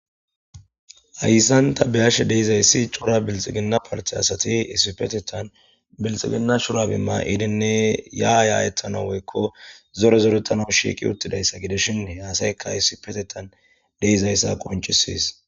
Hayssan ta bea'she dizzayssi cora bilxiginna parte assathi issippethethan bilxiginna shurabe mayidinne yayethanawu woykko zore zorethanu shiqi uthidayssa gidishin he assaykka issippetethan de'zayssi qoncisess.